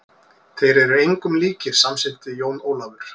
Þeir eru engum líkir, samsinnti Jón Ólafur.